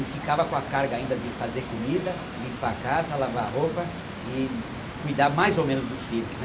e ficava com a carga ainda de fazer comida, limpar a casa, lavar a roupa e cuidar mais ou menos dos filhos né.